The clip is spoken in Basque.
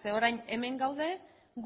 zeren orain hemen gaude